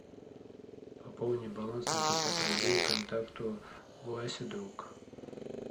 пополни баланс на пятьдесят рублей контакту вася друг